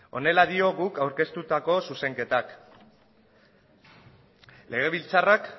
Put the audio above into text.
honela dio guk aurkeztutako zuzenketak legebiltzarrak